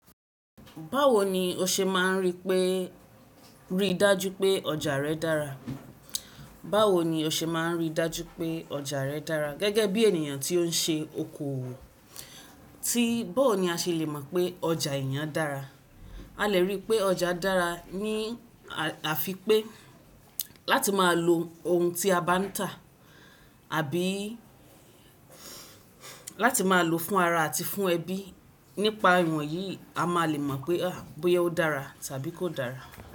Báwo ni o ṣe máa ń rí pé, rí dájú pé ọjà rẹ dára? Báwo ni o ṣe máa ń rí dájú pé ọjà rẹ dára gẹ́gẹ́ bí ènìyàn tí ó ń ṣe oko? Ti bó ni a ṣe lè mọ̀ pé ọjà èèyàn dára? A lè rí pé ọjà dára ní àfi pé láti máa lo ohun tí a bá ń tà àbí láti máa lò fún ara àti fún ẹbí. Nípa ìwọ̀nyí a má lè mọ̀ pé bóyá ó dára tàbí kò dára.